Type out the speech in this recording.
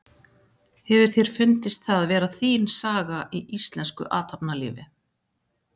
Hefur þér fundist það vera þín saga í íslensku athafnalífi?